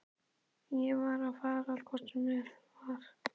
Ég var að fara hvort sem var.